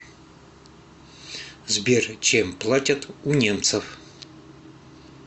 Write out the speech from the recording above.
сбер чем платят у немцев